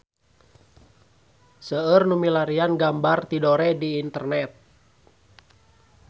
Seueur nu milarian gambar Tidore di internet